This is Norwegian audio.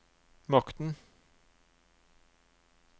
makten